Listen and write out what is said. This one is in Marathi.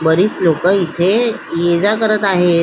बरीच लोकं इथे ये जा करत आहेत.